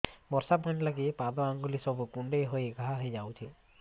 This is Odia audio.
ବର୍ଷା ପାଣି ଲାଗି ପାଦ ଅଙ୍ଗୁଳି ସବୁ କୁଣ୍ଡେଇ ହେଇ ଘା ହୋଇଯାଉଛି